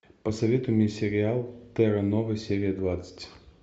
посоветуй мне сериал терра нова серия двадцать